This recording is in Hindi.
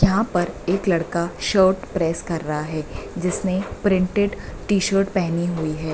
यहां पर एक लड़का शर्ट प्रेस कर रहा है जिसने प्रिंटेड टी-शर्ट पहनी हुई है।